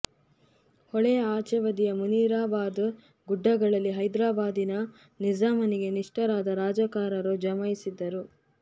ಹೊಳೆಯ ಆಚೆ ಬದಿಯ ಮುನಿರಾಬಾದ್ ಗುಡ್ಡಗಳಲ್ಲಿ ಹೈದರಾಬಾದಿನ ನಿಜಾಮನಿಗೆ ನಿಷ್ಠರಾದ ರಜಾಕಾರರು ಜಮಾಯಿಸಿದ್ದರು